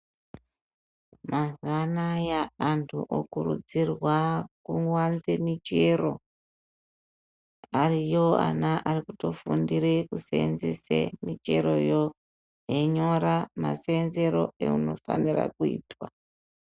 Mazuwa anaya andu okuridzirwa kuwanze michero ariyo ana ari kutofundira kuseenzesa micheroyo einyora maseenzero eunofanirwa kuitwa.